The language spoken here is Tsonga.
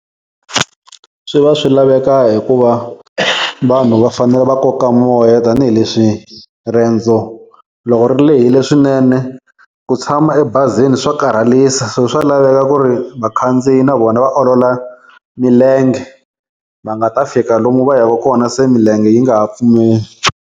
Swi va swi laveka hikuva vanhu va fanele va koka moya tanihileswi riendzo loko ri lehile swinene ku tshama ebazini swa karhalisa so swa laveka ku ri vakhandziyi na vona va olola milenge va nga ta fika lomu va yaka kona se milenge yi nga ha pfumeli.